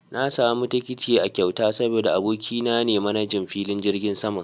Na samu tikiti a kyauta saboda abokina ne manajan filin jirgin saman